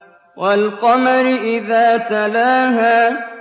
وَالْقَمَرِ إِذَا تَلَاهَا